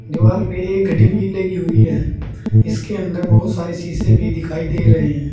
दीवाल पे एक घड़ी भी लगी हुई है जिसके अंदर बहुत सारे शीशे भी दिखाई दे रहे हैं।